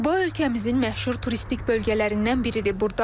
Quba ölkəmizin məşhur turistik bölgələrindən biridir.